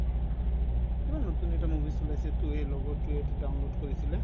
কিবা নতুন এটা movies ওলাইছে to এই লগৰতোয়ে এইটো download কৰিছিলে